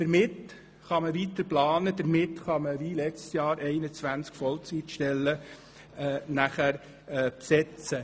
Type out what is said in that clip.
Damit kann man weiter planen und wie letztes Jahr 21 Vollzeitstellen besetzen.